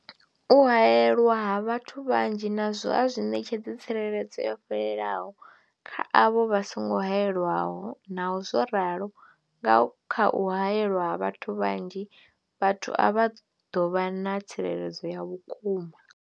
U haelwa ha vhathu vhanzhi nazwo a zwi ṋetshedzi tsireledzo yo fhelelaho kha avho vha songo haelwaho, Naho zwo ralo, nga kha u haelwa ha vhathu vhanzhi, vhathu avha vha ḓo vha na tsireledzo ya vhukuma.